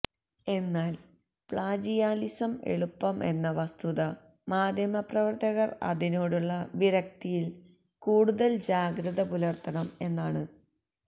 എന്നാൽ പ്ളാജിയാലിസം എളുപ്പം എന്ന വസ്തുത മാധ്യമപ്രവർത്തകർ അതിനോടുള്ള വിരക്തിയിൽ കൂടുതൽ ജാഗ്രത പുലർത്തണം എന്നാണ്